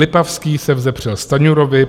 Lipavský, se vzepřel Stanjurovi.